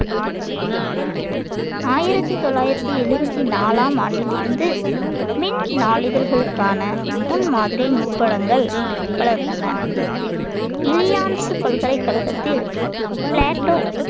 ஆயிரத்தி தொள்ளாயிரத்தி எழுபத்தி நாலாம் ஆண்டிலிருந்து மின் நாளிதழ்களுக்கான முன்மாதிரி நுட்பங்கள் வளர்ந்தன இலியான்ஸ் பல்கலைக்கழகத்தில் பிளாட்டோ